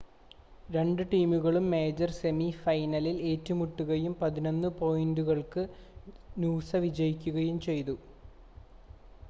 രണ്ട് ടീമുകളും major semi ഫൈനലിൽ ഏറ്റുമുട്ടുകയും 11 പോയിൻ്റുകൾക്ക് നൂസ വിജയികയും ചെയ്തു